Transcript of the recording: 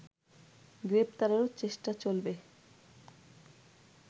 গ্রেপ্তারেরও চেষ্টা চলবে